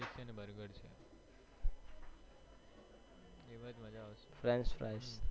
frenchfries